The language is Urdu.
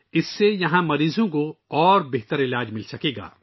اس سے یہاں مریض بہتر علاج کر سکیں گے